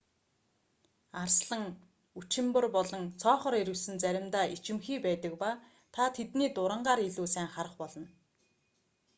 арслан үчимбар болон цоохор ирвэс нь заримдаа ичимхий байдаг ба та тэднийг дурангаар илүү сайн харах болно